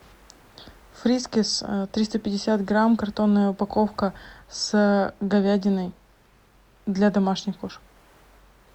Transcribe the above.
фрискис триста пятьдесят грамм картонная упаковка с говядиной для домашних кошек